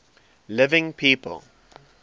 living people